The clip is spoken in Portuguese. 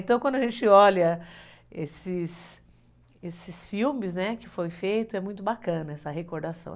Então, quando a gente olha esses esses filmes que foram feitos, é muito bacana essa recordação.